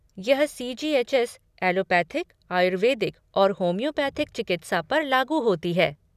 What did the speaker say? यह CGHS. Allopathic, Ayurvedic और homeopathic चिकित्सा पर लागू होती है।